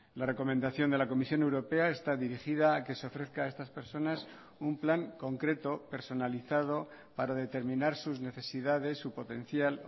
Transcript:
la recomendación de la comisión europea está dirigida a que se ofrezca a estas personas un plan concreto personalizado para determinar sus necesidades su potencial